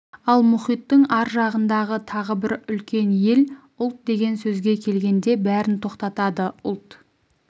ал мұхиттың ар жағындағы тағы бір үлкен ел ұлт деген сөзге келгенде бәрін тоқтатады ұлт